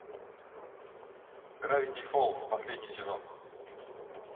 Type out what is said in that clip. гравити фолз последний сезон